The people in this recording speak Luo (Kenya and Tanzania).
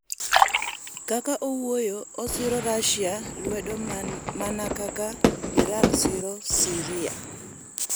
Kaka owuoyo osiro rashia lwedo mana kaka Iran siro Syria.